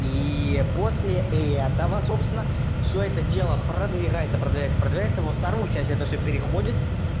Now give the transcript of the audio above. ии после этого собственно всё это дело продвигается продвигается продвигается во вторую часть это всё переходит